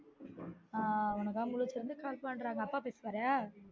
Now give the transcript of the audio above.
ஆஹ் உனக்காண்டி முழுச்சுருந்து call பண்றாரு அப்பா பேசுவார